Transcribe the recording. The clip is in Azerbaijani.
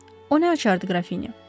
O nə açardı, Qrafinya?